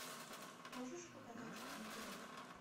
можешь показать пригород